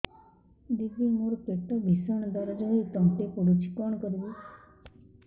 ଦିଦି ମୋର ପେଟ ଭୀଷଣ ଦରଜ ହୋଇ ତଣ୍ଟି ପୋଡୁଛି କଣ କରିବି